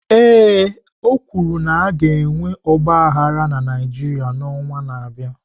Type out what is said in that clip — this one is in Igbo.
Ee, o kwuru na a ga-enwe ọgba aghara na Naịjirịa n'ọnwa na-abịa.